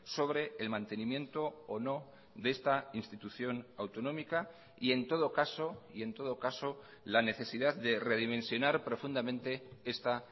sobre el mantenimiento o no de esta institución autonómica y en todo caso y en todo caso la necesidad de redimensionar profundamente esta